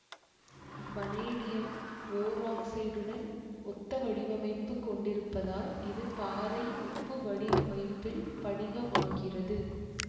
vanadium ஓராக்சைடுடன் ஒத்தவடிவமைப்பு கொண்டிருப்பதால் இது பாறை உப்பு வடிவமைப்பில் படிகமாகிறது